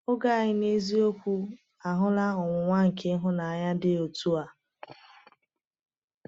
Oge anyị n’eziokwu ahụla ọnwụnwa nke ịhụnanya dị otu a.